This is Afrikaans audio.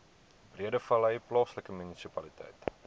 breedevallei plaaslike munisipaliteit